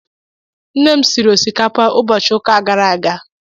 Nne m siri osikapa ụbọchị ụka gara aga